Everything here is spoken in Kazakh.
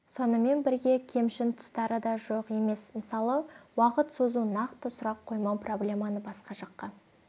сонымен бірге кемшін тұстары да жоқ емес мысалы уақыт созу нақты сұрақ қоймау проблеманы баска жаққа